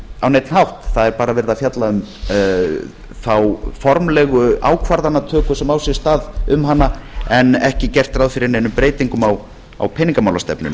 á neinn hátt það er bara verið að fjalla um þá formlegu ákvarðanatöku sem á sér stað um hana en ekki gert ráð fyrir neinum breytingum á peningamálastefnunni